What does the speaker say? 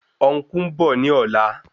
Ọn̄kú ń bọ̀ ní ọ̀la